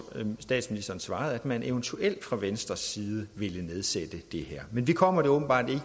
statsministeren svarede at man eventuelt fra venstres side ville nedsætte det men vi kommer det åbenbart ikke